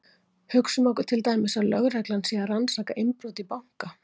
Hugsum okkur til dæmis að lögreglan sé að rannsaka innbrot í banka.